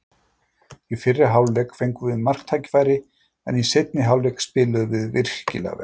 Í fyrri hálfleik fengum við marktækifæri, en í seinni hálfleik spiluðum við virkilega vel.